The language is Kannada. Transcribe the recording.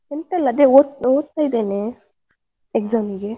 ಎಂತ ಇಲ್ಲ ಅದೇ ಓದ್~ ಓದ್ತಾ ಇದೇನೆ, exam ಗೆ.